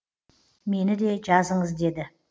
мені де жазыңыз деді